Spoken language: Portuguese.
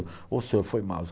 Ô senhor, foi mal.